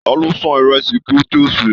Taló sàn ìrẹsì kí o to ṣe?